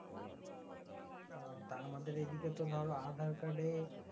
উম তো আমাদের এইদিকে আধার কার্ডে